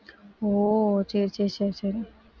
ஓ சரி சரி சரி சரி